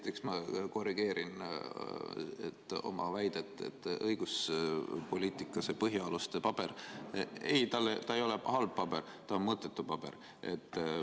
Esiteks ma korrigeerin oma väidet: õiguspoliitika põhialuste paber ei ole halb paber, see on mõttetu paber.